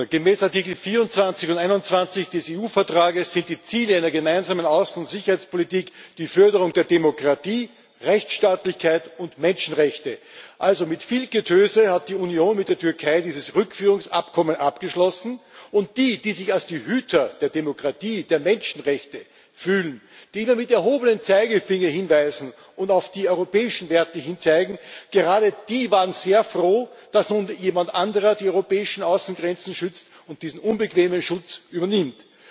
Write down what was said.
Gemäß Artikel 24 und 21 des EU Vertrags sind die Ziele einer Gemeinsamen Außen und Sicherheitspolitik die Förderung der Demokratie, Rechtsstaatlichkeit und Menschenrechte. Mit viel Getöse hat die Union also mit der Türkei dieses Rückführungsabkommen abgeschlossen, und diejenigen, die sich als die Hüter der Demokratie, der Menschenrechte fühlen, die immer mit erhobenem Zeigefinger hinweisen und auf die europäischen Werte zeigen, gerade die waren sehr froh, dass nun jemand anderer die europäischen Außengrenzen schützt und diesen unbequemen Schutz übernimmt.